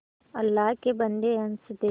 अल्लाह के बन्दे हंस दे